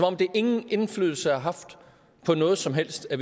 om det ingen indflydelse har haft på noget som helst at